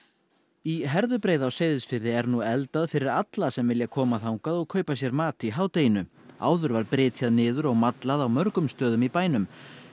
í Herðubreið á Seyðisfirði er nú eldað fyrir alla sem vilja koma þangað og kaupa sér mat í hádeginu áður var brytjað niður og mallað á mörgum stöðum í bænum